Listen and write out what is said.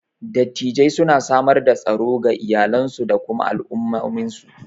Dattijai suna samar da tsaro ga iyalansu da kuma al'ummominsu.